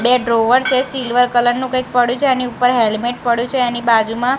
બે ડ્રોવર છે silver colour નું કંઈક પડ્યું છે એની ઉપર હેલ્મેટ પડ્યું છે એની બાજુમાં--